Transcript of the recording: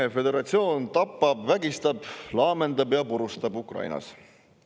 Vene föderatsioon tapab, vägistab, laamendab ja purustab Ukrainas.